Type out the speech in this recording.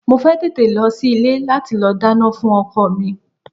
Mo fẹ́ tètè lọ sí ilé láti lọ dáná fún ọkọ mi.